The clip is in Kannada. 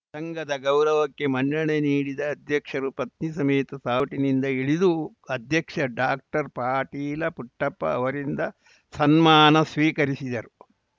ಸಂಘದ ಗೌರವಕ್ಕೆ ಮನ್ನಣೆ ನೀಡಿದ ಅಧ್ಯಕ್ಷರು ಪತ್ನಿ ಸಮೇತ ಸಾರೋಟಿನಿಂದ ಇಳಿದು ಅಧ್ಯಕ್ಷ ಡಾಕ್ಟರ್ ಪಾಟೀಲ ಪುಟ್ಟಪ್ಪ ಅವರಿಂದ ಸನ್ಮಾನ ಸ್ವೀಕರಿಸಿದರು